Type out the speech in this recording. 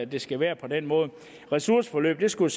det skal være på den måde ressourceforløbet skulle